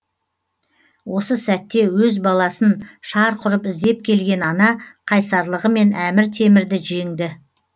осы сәтте өз баласын шарқ ұрып іздеп келген ана қайсарлығымен әмір темірді жеңді